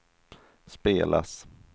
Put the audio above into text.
spelas